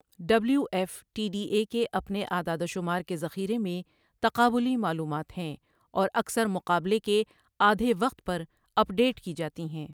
W F T D A کے اپنے اعدادوشمار کے ذخیرے میں تقابلی معلومات ہیں اور اکثر مقابلے کے آدھے وقت پر اپ ڈیٹ کی جاتی ہیں۔